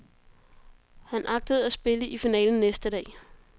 Han agtede at spille i finalen næste dag.